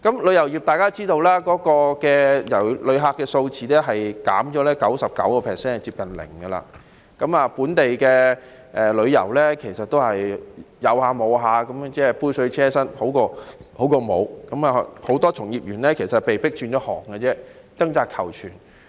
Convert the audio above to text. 旅遊業的情況大家也知道，旅客數字減少 99%， 接近零，本地旅遊其實也只是間歇性，杯水車薪，只是比沒有的好，以致很多從業員被迫轉行，掙扎求存。